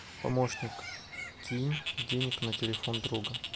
помощник кинь денег на телефон друга